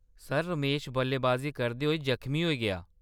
Sir, Ramesh बल्लेबाजी करदे होई जख्मी होई गेआ।